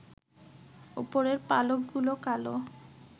উপরের পালকগুলো কালো